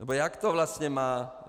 Nebo jak to vlastně má?